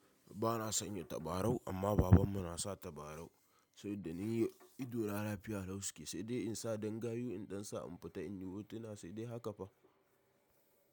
Ba na sanya tabarau amma baban mu nasa tabarau. Saboda ni idona lafiya lau suke saidai in sa ɗan gayu in ɗan sa in fita in yi hotuna sai dai haka fa.